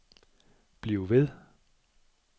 bliv ved